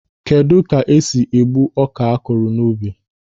Kedụ ka esi egbu ọka akụrụ n'ubi?